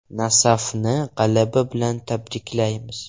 “Nasaf”ni g‘alaba bilan tabriklaymiz.